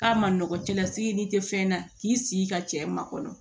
K'a ma nɔgɔn cɛlasigi n'i tɛ fɛn na k'i sigi ka cɛ makɔnɔ